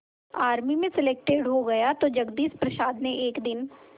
army में selected हो गया तो जगदीश प्रसाद ने एक दिन